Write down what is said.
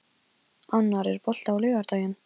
Annar, er bolti á laugardaginn?